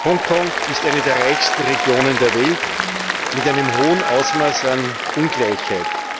Hongkong ist eine der reichsten Regionen der Welt mit einem hohen Ausmaß an Ungleichheit.